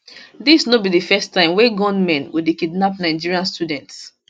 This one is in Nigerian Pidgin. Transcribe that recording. dis no be di first time wey gunmen go dey kidnap nigerian students